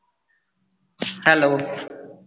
hello